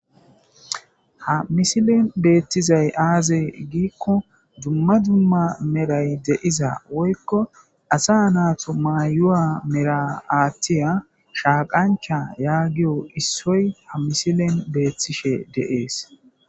ha misilen beettizay aaze giikko dumma dumma meray deiza woykko asa naato mayuwa mera aathtiya shaaqancha yaagiyo issoy ha misilen beettishe deees